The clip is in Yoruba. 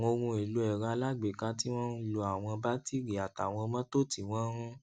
àwọn ohun èlò èrọ alágbèéká tí wón ń lò àwọn batiri àtàwọn mótò tí wón ń